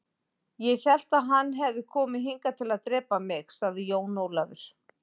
Ég hélt að hann hefði komið hingað til að drepa mig, sagði Jón Ólafur.